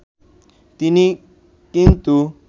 তিনি কিন্তু